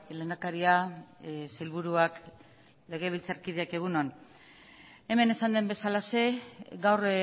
lehendakaria sailburuak legebiltzarkideok egun on hemen esan den bezalaxe gaur